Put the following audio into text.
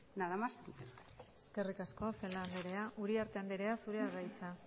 nada más y muchas gracias eskerrik asko celaá andrea uriarte andrea zurea da hitza